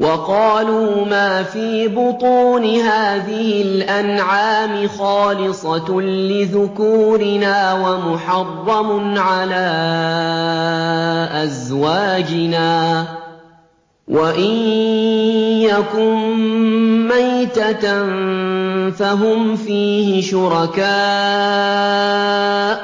وَقَالُوا مَا فِي بُطُونِ هَٰذِهِ الْأَنْعَامِ خَالِصَةٌ لِّذُكُورِنَا وَمُحَرَّمٌ عَلَىٰ أَزْوَاجِنَا ۖ وَإِن يَكُن مَّيْتَةً فَهُمْ فِيهِ شُرَكَاءُ ۚ